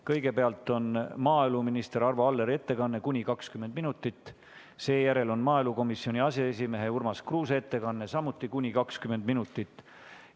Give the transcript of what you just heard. Kõigepealt on maaeluminister Arvo Alleri ettekanne kuni 20 minutit, seejärel on maaelukomisjoni aseesimehe Urmas Kruuse ettekanne, samuti kuni 20 minutit.